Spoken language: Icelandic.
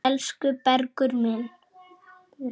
Elsku Bergur minn.